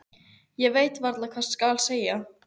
Ég veit varla hvað skal segja.